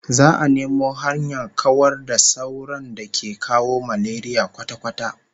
Za'a nemo hanyar kawar da sauron da ke kawo malaria kwata-kwata